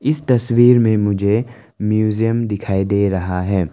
इस तस्वीर में मुझे म्यूजियम दिखाई दे रहा है।